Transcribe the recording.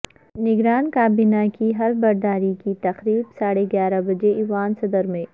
نگران کابینہ کی حلف برداری کی تقریب ساڑھے گیارہ بجے ایوان صدر میں